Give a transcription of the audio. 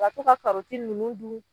Ka to ka karɔti ninnu dun